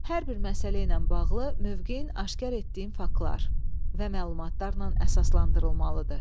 Hər bir məsələ ilə bağlı mövqeyin aşkar etdiyin faktlar və məlumatlarla əsaslandırılmalıdır.